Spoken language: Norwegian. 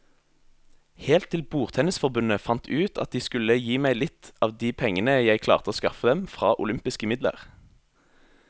Helt til bordtennisforbundet fant ut at de skulle gi meg litt av de pengene jeg klarte å skaffe dem fra olympiske midler.